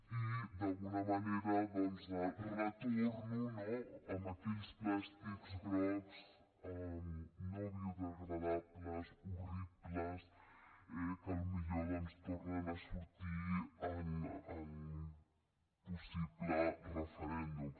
i d’alguna manera retorno a aquells plàstics grocs no biodegradables horribles que potser tornen a sortir en un possible referèndum